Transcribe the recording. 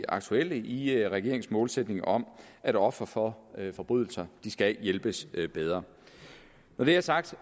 aktuelle i i regeringens målsætning om at ofre for forbrydelser skal hjælpes bedre når det er sagt